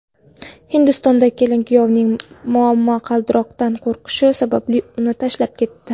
Hindistonda kelin kuyovning momaqaldiroqdan qo‘rqishi sababli uni tashlab ketdi.